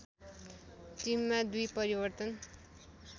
टिममा दुई परिवर्तन